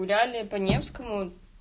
далее по невскому